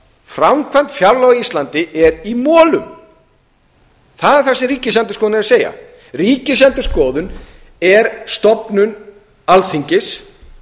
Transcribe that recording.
framkvæmd fjárlaga á íslandi er í molum þó er það sem ríkisendurskoðun er að segja ríkisendurskoðun er stofnun alþingis